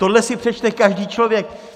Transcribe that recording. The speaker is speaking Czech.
Tohle si přečte každý člověk.